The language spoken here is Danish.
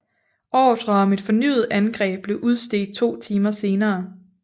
Ordrer om et fornyet angreb blev udstedt to timer senere